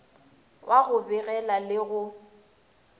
wa go begela le go